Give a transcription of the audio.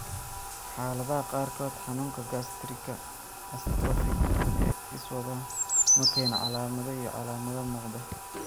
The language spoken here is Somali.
Xaaladaha qaarkood, xanuunka gaastarika atrophic ee iswada ma keeno calaamado iyo calaamado muuqda.